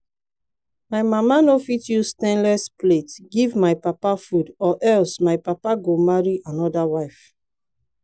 my mama no fit use stainless plate give my papa food or else my papa go marry another wife